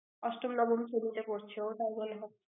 অষ্টম নবম শ্রেণিতে পড়ছে ও, তাই মনে হয়।